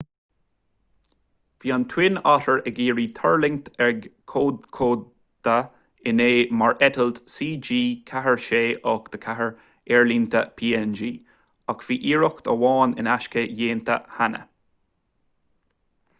bhí an twin otter ag iarraidh tuirlingt ag kokoda inné mar eitilt cg4684 aerlínte png ach bhí iarracht amháin in aisce déanta cheana